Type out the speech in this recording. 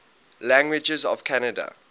languages of canada